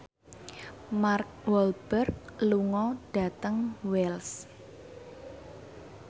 Mark Walberg lunga dhateng Wells